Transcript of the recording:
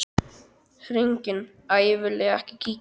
Hringing: Æi viljiði ekki kíkja?